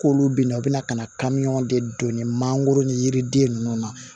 K'olu bina u bɛna ka na de don ni mangoro ni yiriden ninnu na